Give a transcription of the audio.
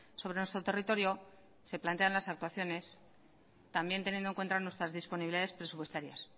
sobre nuestro territorio se plantean las actuaciones también teniendo en cuenta nuestras disponibilidades presupuestarias